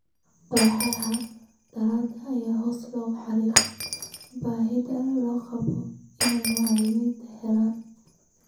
Kooxaha diiradda ayaa hoosta ka xariiqay baahida loo qabo in macallimiintu helaan